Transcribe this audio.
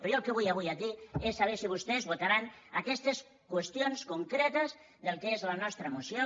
però jo el que vull avui aquí és saber si vostès votaran aquestes qüestions concretes del que és la nostra moció